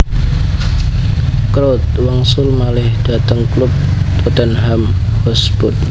Crouch wangsul malih dhateng klub Tottenham Hotspur